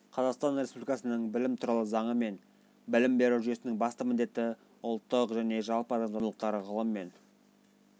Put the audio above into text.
қазақстан республикасының білім туралы заңы білім беру жүйесінің басты міндеті-ұлттық және жалпы адамзаттық құндылықтар ғылым мен